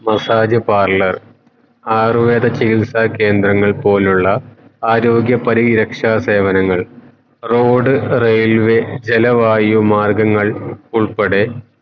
massage parlour Ayurveda ചികിത്സ കേന്ദ്രങ്ങൾ പോലുള്ള ആരോഗ്യ പരിരക്ഷ സേവനങ്ങൾ road railway ജല വായു മാർഗങ്ങൾ ഉൾപ്പെടെ